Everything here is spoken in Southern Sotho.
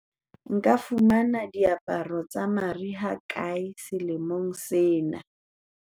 nka fumana diaparo tsa mariha kae selemong sena